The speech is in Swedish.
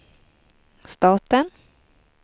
staten